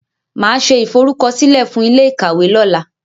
Màá ṣe ìforúkọsílẹ̀ fún ilé ìkàwé lọ́la.